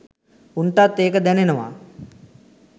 උන්ටත් ඒක දැනෙනවා